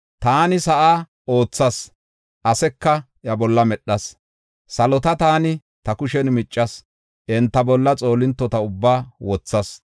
Taani sa7aa oothas; aseka iya bolla medhas. Salota taani ta kushen miccas; enta bolla xoolintota ubbaa wothas.